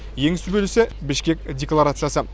ең сүбелісі бішкек декларациясы